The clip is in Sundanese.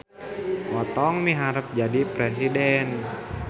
Otong miharep jadi presiden